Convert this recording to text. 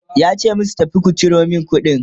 yace musu "tafi ku Ciro min kuɗin!"